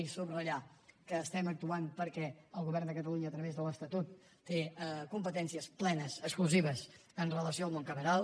i subratllar que actuem perquè el govern de catalunya a través de l’estatut té competències plenes exclusives amb relació al món cameral